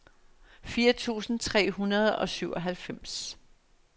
fire tusind tre hundrede og syvoghalvfems